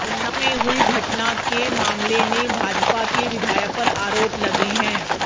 उन्नाव में हुई घटना के मामले नें भाजपा के विधायक पर आरोप लगे हैं